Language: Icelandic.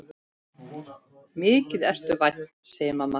Mikið ertu vænn, segir mamma.